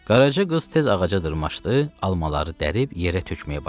Qaraca qız tez ağaca dırmaşdı, almaları dərib yerə tökməyə başladı.